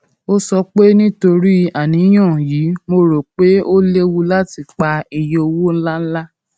ó sọ pé nítorí àníyàn yìí mo rò pé ó léwu láti pa iye owó ńláńlá